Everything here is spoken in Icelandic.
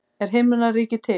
Er himnaríki til?